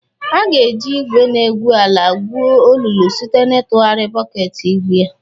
A ga-eji igwe na-egwu ala gwuo olulu site n'ịtụgharị bọket igwu ya.